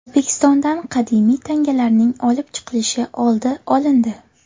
O‘zbekistondan qadimiy tangalarning olib chiqilishi oldi olindi.